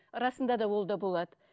расында да ол да болады